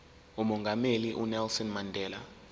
umongameli unelson mandela